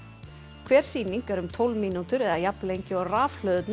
hver sýning í um tólf mínútur eða jafn lengi og rafhlöðurnar